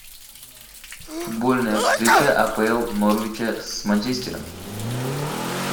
футбольная встреча апл норвича с манчестером